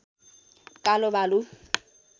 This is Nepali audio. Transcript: कालो भालु